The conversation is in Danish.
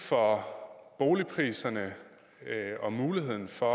for boligpriserne og muligheden for